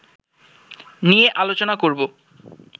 নিয়ে আলোচনা করব